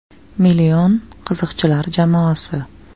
“Million” qiziqchilar jamoasi.